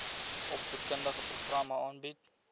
opvoedkundige programme aanbied